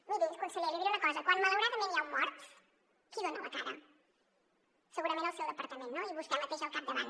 miri conseller li diré una cosa quan malauradament hi ha un mort qui dona la cara segurament el seu departament no i vostè mateix al capdavant